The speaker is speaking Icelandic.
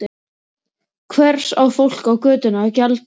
Hvers á fólkið á götunni að gjalda?